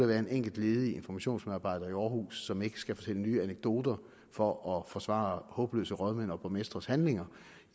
være en enkel ledig informationsmedarbejder i aarhus som ikke skal fortælle nye anekdoter for at forsvare håbløse rådmænds og borgmestres handlinger